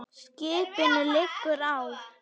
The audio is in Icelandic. Skipinu liggur á.